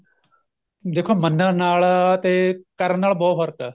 ਦੇਖੋ ਮੰਨਣ ਨਾਲ ਤੇ ਕਰਨ ਨਾਲ ਬਹੁਤ ਫਰਕ ਏ